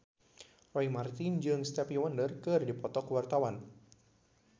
Roy Marten jeung Stevie Wonder keur dipoto ku wartawan